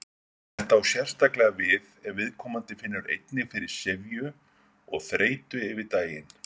Þetta á sérstaklega við ef viðkomandi finnur einnig fyrir syfju og þreytu yfir daginn.